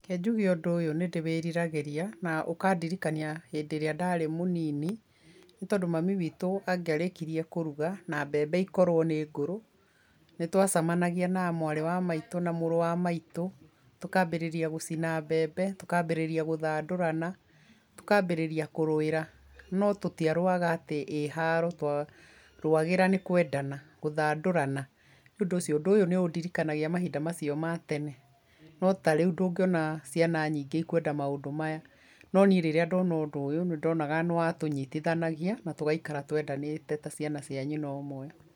Reke njuge ũndũ ũyũ nĩ ndĩwĩriragĩria na ũkandiriirkania hĩndĩ ĩria ndarĩ mũnini, nĩtondũ mami witũ angĩarĩkirie kũruga na mbembe ikorwo nĩ ngũrũ, nĩtwacemanagia na a mwarĩ wa maitũ na mũrũ wa maitũ, tũkambĩrĩria gũcina mbembe, tũkambĩrĩria gũthandũrana, tũkambĩrĩria kũrũwĩra, no tũtiarũaga atĩ ĩ haro twarũwagĩra nĩkwendana, gũthandũrana, nĩ ũndũ ũcio ũndũ ũyũ nĩ ũndirikanagia mahinda macio ma tene. No tarĩũ ndũngiona ciana nyingĩ ikwenda maũndũ maya, no nĩ rĩrĩa ndona ũndũ ũyũ nĩndonaga nĩwatũnyitithanagia na tũgaikara twendanĩte ta ciana cia nyina ũmwe.